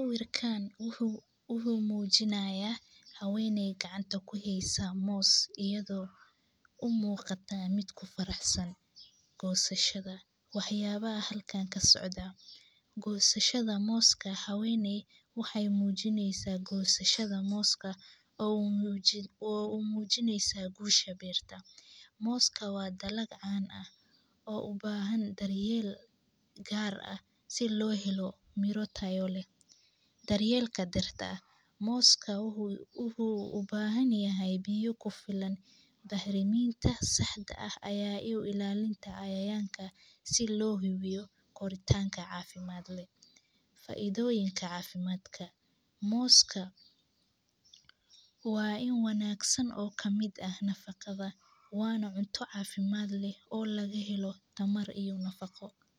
Sawirkan wuxuu mujiinayaa haweneey gaacantaa ku haysaa moos iyadho u muqaataa miid ku faraaxsan gosaashaada, wax yala halkan kasocda, gosaashaada mooska haweneey waxee mujiineysaa gosashaada mooska o u mujiineysaa gushaa beertaa, mooska waa dalaad caan ah o ubahan daryeel gaar ah si lo helo miiro tayo leh, daryelka bertaa mooska wuxuu u bahan yahay biyo kufiilan, Daxriminta saaxda ah iyo ilalinta cayayanka si lo hibeyo koritanka cafiimaadka, Faidooyiinka cafiimaadka, mooska waa in wanagsan o kamiid ah nafaqadha wana cunto cafimaad leh o laga lahelo tamar iyo nafaqo.